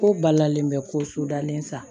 Ko balalen bɛ ko sodalen sa